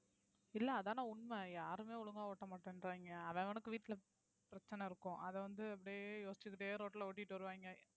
இல்லை, அதானே உண்மை. யாருமே ஒழுங்கா ஓட்ட மாட்டேன்றாங்க. அவன் அவனுக்கு வீட்டுல பிரச்சனை இருக்கும் அதை வந்து அப்படியே யோசிச்சுக்கிட்டே road ல ஓட்டிட்டு வருவாங்க.